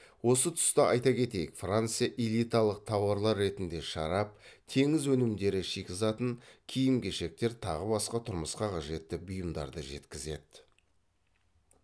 осы тұста айта кетейік франция элиталық тауарлар ретінде шарап теңіз өнімдері шикізатын киім кешектер тағы басқа тұрмысқа қажетті бұйымдарды жеткізеді